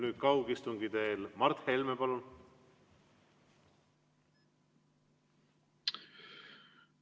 Nüüd kaugistungi vormis Mart Helme, palun!